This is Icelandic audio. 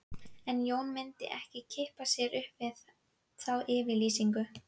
En Jón myndi ekki kippa sér upp við þá yfirlýsingu